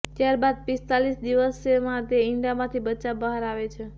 ત્યારબાદ પિસ્તાલીસ દિવસમાં તે ઈંડામાંથી બચ્ચાં બહાર આવે છે